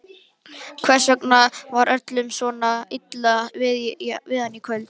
Hvers vegna var öllum svona illa við hann í kvöld?